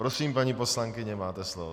Prosím, paní poslankyně, máte slovo.